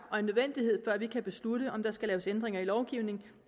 og en nødvendighed før vi kan beslutte om der skal laves ændringer i lovgivningen